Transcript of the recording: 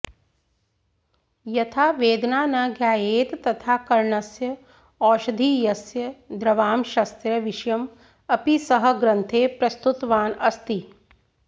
यथा वेदना न ज्ञायेत तथा करणस्य औषधीयस्य द्रवांशस्य विषयम् अपि सः ग्रन्थे प्रस्तुतवान् अस्ति